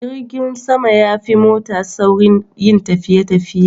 Jirgin sama yafi mota saurin yin tafiye tafiye